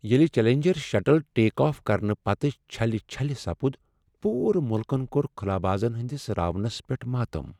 ییٚلہ challenger shuttle take off کرنہٕ پتہٕ چھلہِ چھلہِ سپُد پوٗرٕ ملکن كور خلابازن ہنٛدس راونس پیٹھ ماتم ۔